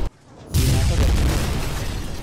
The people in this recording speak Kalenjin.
Siman soketit neo